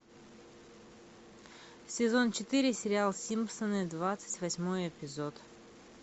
сезон четыре сериал симпсоны двадцать восьмой эпизод